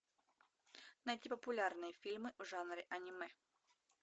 найти популярные фильмы в жанре аниме